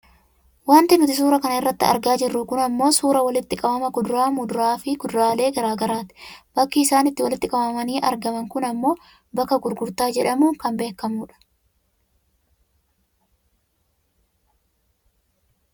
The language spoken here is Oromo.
Wanti nuti suuraa kana irratti argaa jirru kun ammoo suuraa walitti qabama kuduraa, muduraafi kuduraalee gara garaati. Bakki isaanitti walitti qabamanii argaman kun ammoo bakka gurgurtaa jedhamuun kan beekkamu dha.